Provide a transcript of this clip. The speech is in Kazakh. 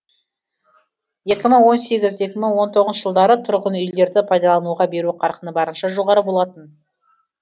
екі мың он сегіз екі мың он тоғызыншы жылдары тұрғын үйлерді пайдалануға беру қарқыны барынша жоғары болатын